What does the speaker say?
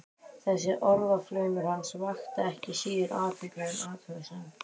Þessi orðaflaumur hans vakti ekki síður athygli en athugasemdir